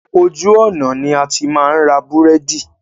Ojú ọ̀nà ni a ti máa ń ra búrẹ́dì.